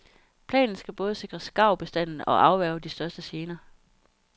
Planen skal både sikre skarvbestanden og afværge de største gener.